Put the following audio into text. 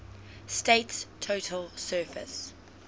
state's total surface